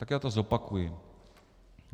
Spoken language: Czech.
Tak já to zopakuji.